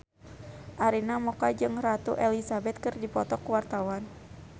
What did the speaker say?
Arina Mocca jeung Ratu Elizabeth keur dipoto ku wartawan